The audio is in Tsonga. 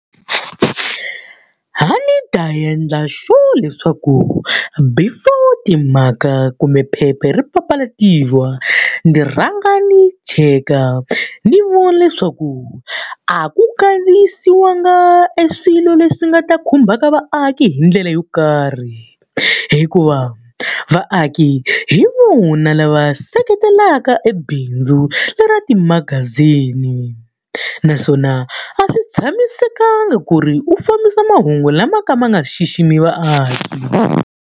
A ni ta endla sure leswaku before timhaka kumbe phepha ri papalatiwa, ni rhanga ni cheka ni vona leswaku a ku kandziyisiwanga eswilo leswi nga ta khumbaka vaaki hi ndlela yo karhi. Hikuva vaaki hi vona lava seketelaka ebindzu leri va timagazini. Naswona a swi tshamisekanga ku ri u fambisa mahungu lama ka ma nga xiximi vaaki.